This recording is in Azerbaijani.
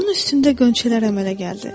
Onun üstündə qönçələr əmələ gəldi.